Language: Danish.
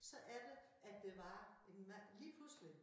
Så er der at der var en mand lige pludselig